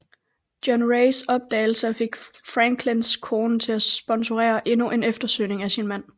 John Raes opdagelser fik Franklins kone til at sponsorere endnu en eftersøgning af sin mand